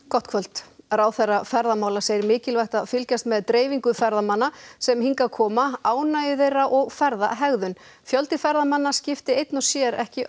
gott kvöld ráðherra ferðamála segir mikilvægt að fylgjast með dreifingu ferðamanna sem hingað koma ánægju þeirra og ferðahegðun fjöldi ferðamanna skipti einn og sér ekki